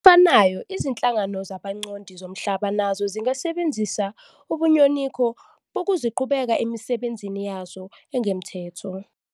Ngokufanayo, izinhlangano zabancondi zomhlaba nazo zingasebenzisa ubunyoninco bokuqhibuka emisebenzini yazo engokomthetho.